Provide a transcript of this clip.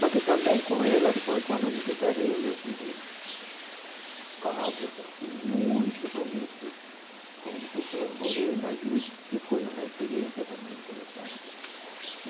Mas que também com ela, depois quando eu me separei eu tive casos assim muito bonitos com pessoas morena e que foi uma experiência também interessante.